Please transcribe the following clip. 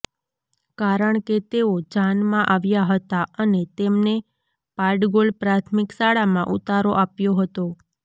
કારણ કે તેઓ જાનમાં આવ્યા હતા અને તેમને પાડગોલ પ્રાથમિક શાળામાં ઉતારો આપ્યો હતો